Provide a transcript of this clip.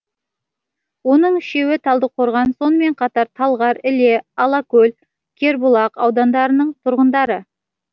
оның үшеуі талдықорған сонымен қатар талғар іле алакөл кербұлақ аудандарының тұрғындары